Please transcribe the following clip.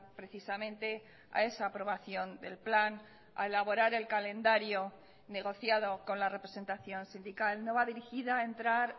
precisamente a esa aprobación del plan a elaborar el calendario negociado con la representación sindical no va dirigida a entrar